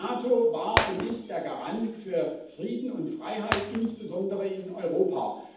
Die NATO war und ist der Garant für Frieden und Freiheit insbesondere in Europa.